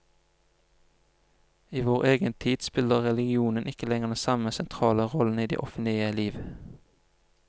I vår egen tid spiller religionen ikke lenger den samme sentrale rollen i det offentlige liv.